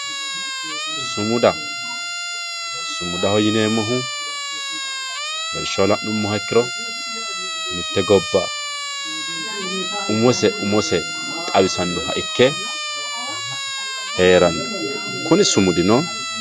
sumuda sumudaho yineemmohu lawishshaho la'nummoha ikkiro mitte gobba umose umose xawisannoha ikke heeranno kuni sumudino